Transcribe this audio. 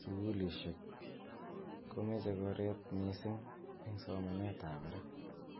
sukulishekmkomeche keret mising eng somanet ab barak.